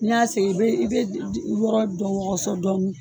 N'i y'a sen i bɛ i bɛ yɔrɔ dɔ wɔgɔsɔ dɔɔni